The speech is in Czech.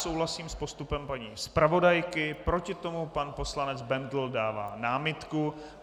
Souhlasím s postupem paní zpravodajky, proti tomu pan poslanec Bendl dává námitku.